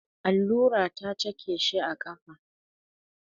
Allura ta cake shi a ƙafa.